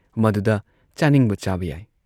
ꯃꯗꯨꯗ ꯆꯥꯅꯤꯡꯕ ꯆꯥꯕ ꯌꯥꯏ ꯫